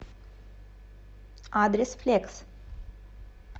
адрес флекс